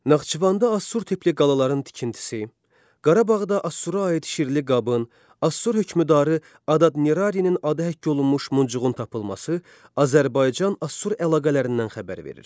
Naxçıvanda Assur tipli qalaların tikintisi, Qarabağda Assura aid şirli qabın, Assur hökmdarı Adad-nirarinin adı həkk olunmuş muncuğun tapılması Azərbaycan-Assur əlaqələrindən xəbər verir.